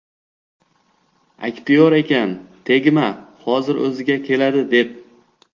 Aktyor ekan, tegma, hozir o‘ziga keladi, deb.